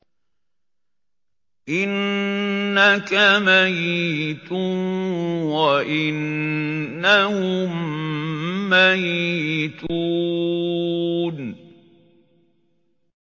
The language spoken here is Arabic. إِنَّكَ مَيِّتٌ وَإِنَّهُم مَّيِّتُونَ